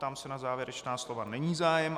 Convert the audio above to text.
Ptám se na závěrečná slova, není zájem.